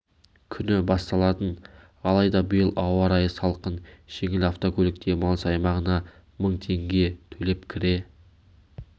күні басталатын алайда биыл ауа райы салқын жеңіл автокөлік демалыс аймағына мың теңге төлеп кіре